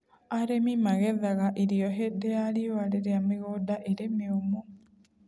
Arĩmi magethaga irio hĩndĩ ya riũa rĩrĩa mĩgũnda ĩrĩ mĩũmũ.